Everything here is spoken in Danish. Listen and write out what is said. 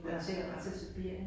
Ja ja